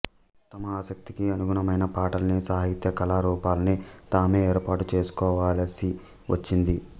తమ ఆసక్తికి అనుగుణమైన పాటల్ని సాహిత్య కళారూపాల్ని తామే ఏర్పాటు చేసుకోవలసి వచ్చింది